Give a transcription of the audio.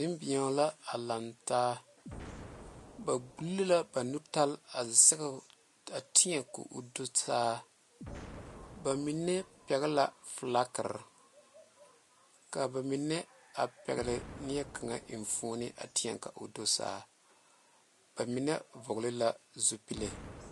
Nenbɛro la a laŋ taa ba dugle la ba nutali a zaŋ a teɛ kaŋ o do saa ba mine pegle la filaaware kaa ba mine a pegle nie kaŋa enfuune a teɛ ka o do saa ba mine vɔgle la zupele.